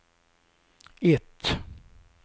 ett